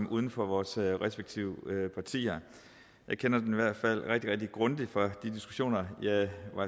uden for vores respektive partier jeg kender den i hvert fald rigtig rigtig grundigt fra de diskussioner jeg